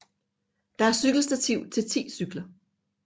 Der er cykelstativ til ti cykler